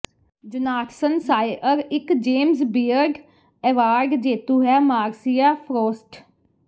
Jonathan Sawyer ਇੱਕ James Beard award ਜੇਤੂ ਹੈ ਮਾਰਸੀਆ ਫ੍ਰੋਸਟ